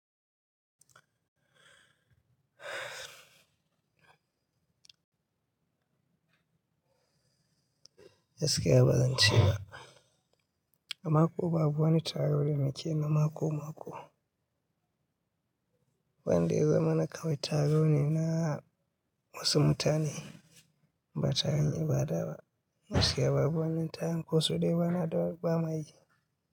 Gaskiya bazance ba. Amma ko babu wani taro da muke na mako-mako. Wan da ya zamana na kawai taro ne na wasu mutane, ba taron ibada gaskiya babu wani taron ko su dai ba na ba mai.